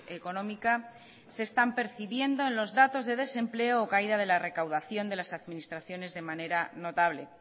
económica se están percibiendo en los datos de desempleo o caída de la recaudación de las administraciones de manera notable